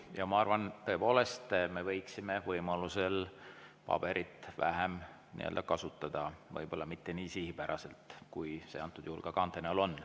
Ja ma arvan, et tõepoolest me võiksime võimalusel paberit vähem kasutada, võib-olla mitte nii sihipäraselt, kui see antud juhul kaante näol on.